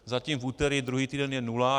Zatím v úterý druhý týden je nula.